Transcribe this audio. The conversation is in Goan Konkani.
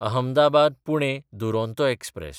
अहमदाबाद–पुणे दुरोंतो एक्सप्रॅस